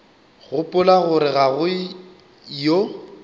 gopola gore ga go yo